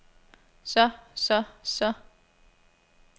så så så